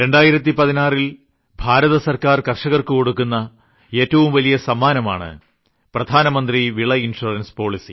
2016ൽ ഭാരതസർക്കാർ കർഷകർക്കു കൊടുക്കുന്ന ഏറ്റവും വലിയ സമ്മാനമാണ് പ്രധാനമന്ത്രി വിള ഇൻഷുറൻസ് പോളിസി